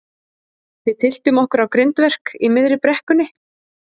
Við tylltum okkur á grindverk í miðri brekkunni.